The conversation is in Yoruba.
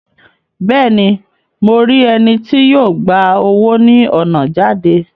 Bẹẹni, Mo ri ẹni tí yó gbà owo ni ọna jáde